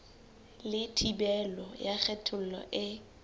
le thibelo ya kgethollo e